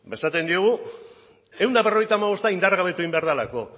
esaten diogu ehun eta berrogeita hamabosta indargabetu egin behar delako